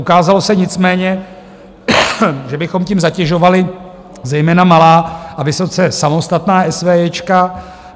Ukázalo se nicméně, že bychom tím zatěžovali zejména malá a vysoce samostatná SVJ.